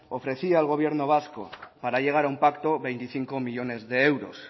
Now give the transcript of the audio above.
ofrecía al gobierno vasco para llegar a un pacto veinticinco millónes de euros